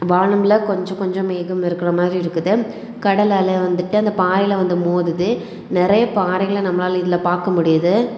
வானம்ல கொஞ்ச கொஞ்சம் மேகம் இருக்கிற மாரி இருக்குது கடல் அலை வந்துட்டு அந்தப் பாறையில வந்து மோதுது நெறைய பாறைகளை நம்மளால இதுல பாக்க முடியுது.